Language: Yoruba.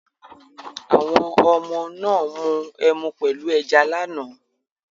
Àwọn oọmọ náà mu ẹmu pẹ̀lú ẹja lánàá.